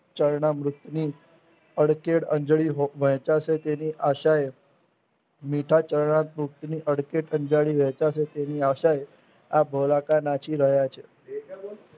ચરણા મૃતની અદકેડ અંજલિ વહેચાસે તેની આશાએ મીઠા ચરણા મૃત અડખે વહેંચાશે તેની આશાએ આ ભોલક નાચી રહ્યા છે